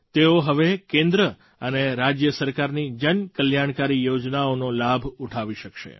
તેઓ હવે કેન્દ્ર અને રાજ્ય સરકારની જન કલ્યાણકારી યોજનાઓનો લાભ ઉઠાવી શકશે